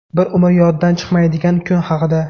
Bir umr yoddan chiqmaydigan kun haqida.